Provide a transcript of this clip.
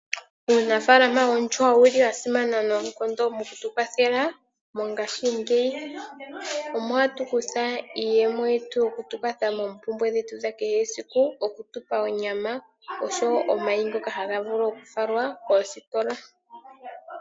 Uunafaalama woondjuhwa owuli wasimana noonkondo mokutuwathela mongashingeyi, omo hatukutha iiyemo yetu yokutukwatha mompumbwe dhetu dha kehesiku, okutupa onyama osho wo omayi ngoka hagavulu okufalwa koositola.